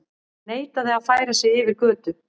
Neitaði að færa sig yfir götu